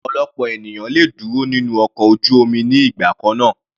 Ọ̀pọ̀lọpọ̀ ènìyàn le dúró nínú ọkọ̀ ojú omi ní ìgbà kannáà.